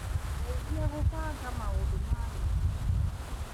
ndeithia gũbanga maũndũ ma rũciũ.